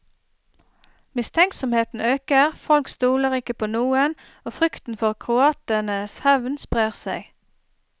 Mistenksomheten øker, folk stoler ikke på noen og frykten for kroatenes hevn sprer seg.